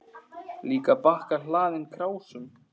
Líka bakka hlaðinn krásum.